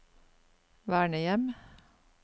vernehjem